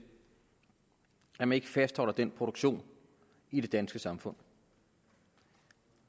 at man ikke fastholder den produktion i det danske samfund